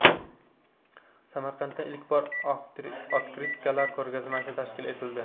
Samarqandda ilk bor otkritkalar ko‘rgazmasi tashkil etildi .